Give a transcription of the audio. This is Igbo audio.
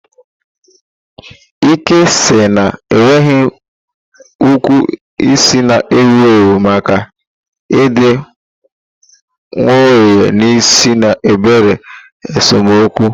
Ike isi na-enweghị ukwu isi na-ewu ewu maka ịdị nwayọọ n'isi na obere esemokwu.